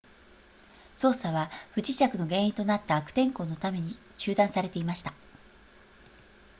捜索は不時着の原因となった悪天候のために中断されていました